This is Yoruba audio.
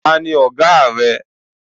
Tani Ọ̀gáà rẹ?